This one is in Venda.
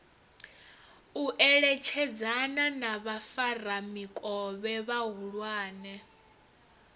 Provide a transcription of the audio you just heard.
u eletshedzana na vhafaramikovhe vhahulwane